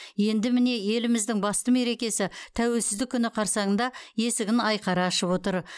енді міне еліміздің басты мерекесі тәуелсіздік күні қарсаңында есігін айқара ашып отыр